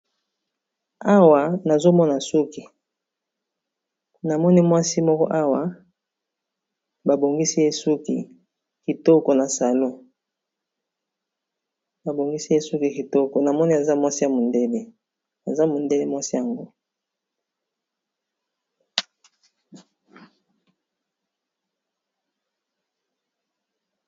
Awa nazomona suki namoni mwasi moko awa ba bongisi ye suki kitoko na salon namoni azali mwasi ya mondele aza mondele mwasi ango.